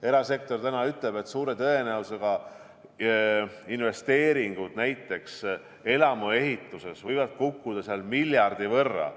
Erasektor ütleb, et suure tõenäosusega investeeringud, näiteks elamuehituses, võivad kukkuda miljardi võrra.